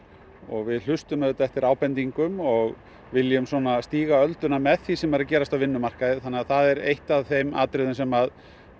og við hlustum auðvitað eftir ábendingum og viljum svona stíga ölduna með því sem er að gerast á vinnumarkaði þannig að það er eitt af þeim atriðum sem